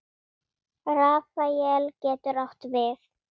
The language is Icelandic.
Rafael getur átt við